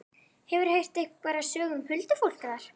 Hefurðu heyrt einhverjar sögur um huldufólk þar?